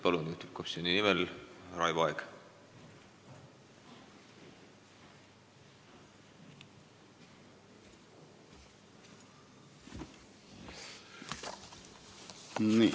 Palun, juhtivkomisjoni nimel Raivo Aeg!